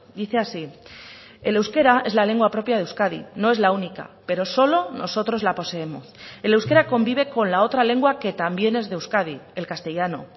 dice así el euskera es la lengua propia de euskadi no es la única pero solo nosotros la poseemos el euskera convive con la otra lengua que también es de euskadi el castellano